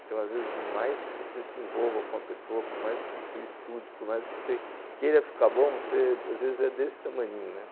Então, às vezes, mais que você se envolva com a pessoa, por mais que você estude, por mais que você queira ficar bom, você, às vezes, é desse tamaninho, né?